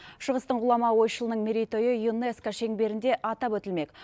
шығыстың ғұлама ойшылының мерейтойы юнеско шеңберінде атап өтілмек